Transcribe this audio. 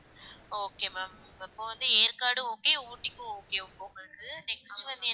okay ma'am இப்ப வந்து Yercaud okay ஊட்டிக்கும் okay உங்களுக்கு next வந்து